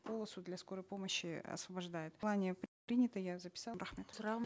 полосу для скорой помощи освобождают в плане принято я записала рахмет сұрағым